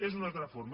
és una altra forma